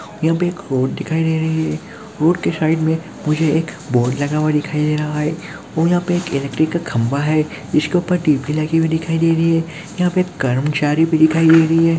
यहां पर एक और दिखाई दे रही है हॉर्ट के साइड में मुझे एक बोर्ड लगा हुआ दिखाई दे रहा है यहां पर एक इलेक्ट्रिक का खंबा है जिस पर डीपी लगी दिखाई दे रही है यहां पर कर्मचारी भी दिखाई दे रही है।